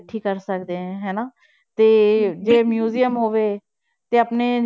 ਇਕੱਠੀ ਕਰ ਸਕਦੇ ਹੈ ਹਨਾ ਤੇ ਜੇ museum ਹੋਵੇ, ਤੇ ਆਪਣੇ